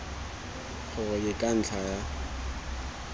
gore ke ka ntlha ya